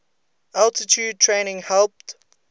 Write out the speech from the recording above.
altitude training helped